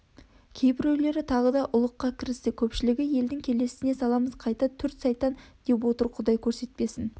кейбіреулері тағы да ұлыққа кірісті көпшілігі елдің келесіне саламыз қайта түрт сайтан деп отыр құдай көрсетпесін